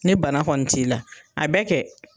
Ni bana kɔni t'i la, a bɛ kɛ.